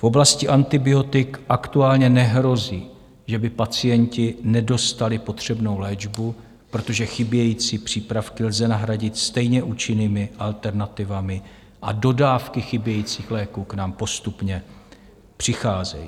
V oblasti antibiotik aktuálně nehrozí, že by pacienti nedostali potřebnou léčbu, protože chybějící přípravky lze nahradit stejně účinnými alternativami a dodávky chybějících léků k nám postupně přicházejí.